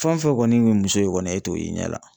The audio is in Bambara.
Fɛn o fɛn kɔni kun ye muso ye kɔni, e t'o ye i ɲɛ la.